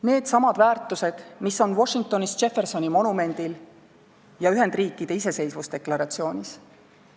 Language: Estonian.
Needsamad väärtused, mis on Washingtonis Jeffersoni monumendil ja Ühendriikide iseseisvusdeklaratsioonis.